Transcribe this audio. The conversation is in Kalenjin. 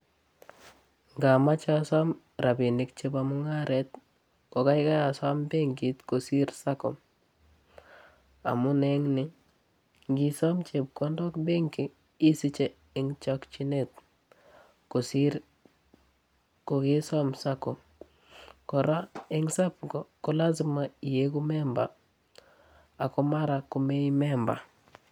Ngamache asom rapinik chebo mungaret kokeikei asom benkit kosiir sacco amun eng ni, ngiisom chepkondok benki isiche eng chokchinet kosiir kokesom sacco. Kora eng sacco ko lasima ieku memba ako mara komei memba.